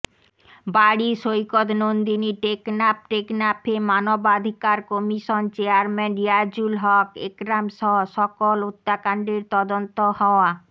বাড়ি সৈকত নন্দিনী টেকনাফ টেকনাফে মানবাধিকার কমিশন চেয়ারম্যান রিয়াজুল হকঃ একরামসহ সকল হত্যাকান্ডের তদন্ত হওয়া